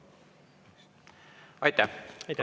Aitäh!